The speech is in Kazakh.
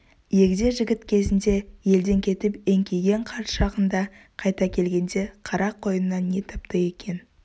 егде жігіт кезінде елден кетіп еңкейген қарт шағында қайта келгенде қарақойыннан не тапты екен